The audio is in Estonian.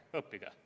Õppige.